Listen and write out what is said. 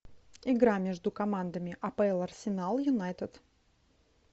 игра между командами апл арсенал юнайтед